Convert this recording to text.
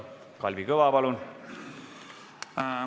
Kalvi Kõva, palun!